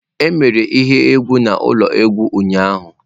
E mere ihe egwu n'ụlọ egwu ụnyaahụ.